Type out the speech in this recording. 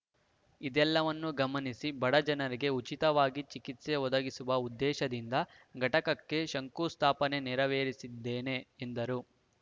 ಇದೆಲ್ಲವನ್ನು ಗಮನಿಸಿ ಬಡ ಜನರಿಗೆ ಉಚಿತವಾಗಿ ಚಿಕಿತ್ಸೆ ಒದಗಿಸುವ ಉದ್ದೇಶದಿಂದ ಘಟಕಕ್ಕೆ ಶಂಕುಸ್ಥಾಪನೆ ನೆರವೇರಿಸಿದ್ದೇನೆ ಎಂದರು